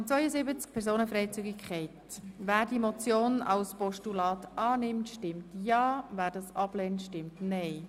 Wer diese Motion als Postulat annimmt, stimmt Ja, wer dies ablehnt, stimmt Nein.